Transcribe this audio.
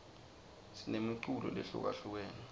sinemiculo lehlukahlukene